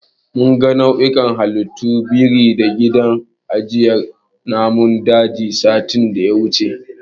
Mun ga nau'ikan halittun biri a gidan ajiyar namun dajin, satin da ya wuce.